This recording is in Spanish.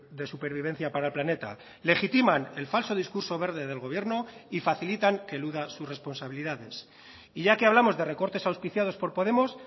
de supervivencia para el planeta legitiman el falso discurso verde del gobierno y facilitan que eluda sus responsabilidades y ya que hablamos de recortes auspiciados por podemos